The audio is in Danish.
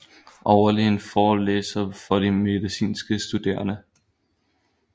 Overlægen forelæser for de medicinske studerende